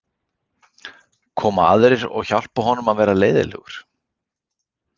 Koma aðrir og hjálpa honum að vera leiðinlegur?